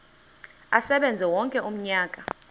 asebenze wonke umnyaka